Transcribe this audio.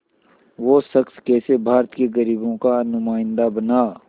वो शख़्स कैसे भारत के ग़रीबों का नुमाइंदा बना